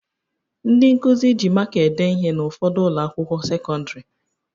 Ndị nkụzi ji maka ede ihe n'ụfọdụ ụlọakwụkwọ sekọndịrị